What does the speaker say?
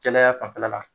Jɛya fanfɛla la